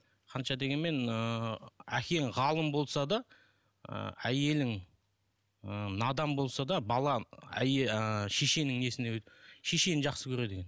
қанша дегенмен ыыы әкең ғалым болса да і әйелің і надан болса да балаң і шешенің несіне шешені жақсы көреді